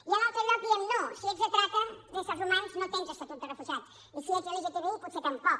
i a l’altre lloc diem no si ets de trata d’éssers humans no tens estatut de refugiat i si ets lgtbi potser tampoc